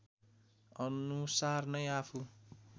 अनुसार नै आफू